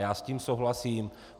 Já s tím souhlasím.